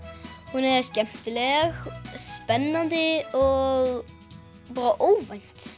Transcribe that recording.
hún er skemmtileg spennandi og bara óvænt